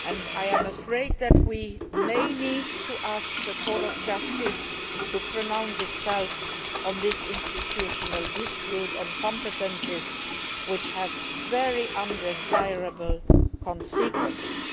I am afraid that we may need to ask the Court of Justice to deliver a verdict on this institutional dispute on competences which has very undesirable consequences.